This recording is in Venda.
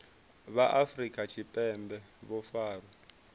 vha afrika tshipembe vho farwaho